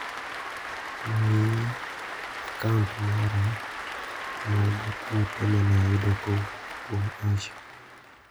Ng'i a kaunt mara mag ote mane ayudo kowuok kuom Asha.